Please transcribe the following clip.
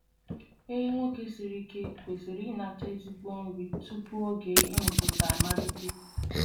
Ehi nwoke siri ike kwesịrị inata ezigbo nri tupu oge ịmụpụta amalite.